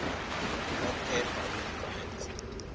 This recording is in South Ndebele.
hot air balloon rides